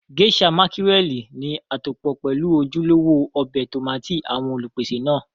Geisha mákírẹ̀lì ní àtòpọ́ pelu ojúlówó ọbẹ̀ tómátì àwọn Olùpèsè náà